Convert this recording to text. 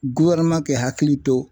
k'i hakili to